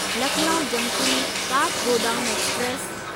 Lucknow junction Kathgodam express